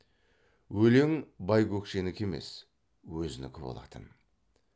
өлең байкөкшенікі емес өзінікі болатын